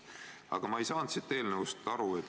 Aga ma ei saanud eelnõust aru.